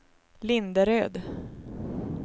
Linderöd